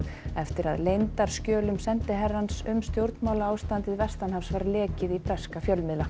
eftir að leyndarskjölum sendiherrans um stjórnmálaástandið vestanhafs var lekið í breska fjölmiðla